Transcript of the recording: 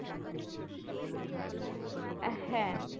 আহ হ্যাঁ